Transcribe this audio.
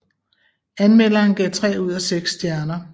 Anmelderen gav tre ud af seks stjerner